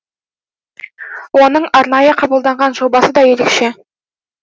оның арнайы қабылданған жобасы да ерекше